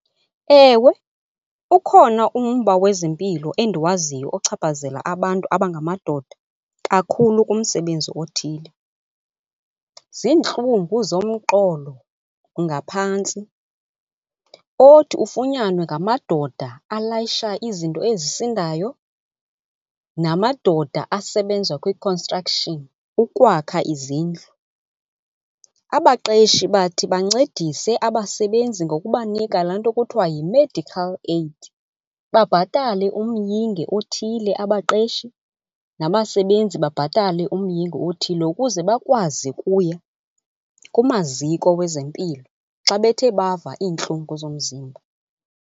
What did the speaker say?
Ewe ukhona umba wezempilo endiwaziyo ochaphazela abantu abangamadoda kakhulu kumsebenzi othile. Ziintlungu zomqolo ngaphantsi othi ufunyanwe ngamadoda alayisha izinto ezisindayo namadoda asebenza kwi-construction ukwakha izindlu. Abaqeshi bathi bancedise abasebenzi ngokubanika laa nto kuthiwa yi-medical aid, babhatale umyinge othile abaqeshi nabasebenzi babhatale umyinge othile, ukuze bakwazi ukuya kumaziko wezempilo xa bethe bava iintlungu zomzimba.